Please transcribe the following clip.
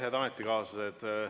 Head ametikaaslased!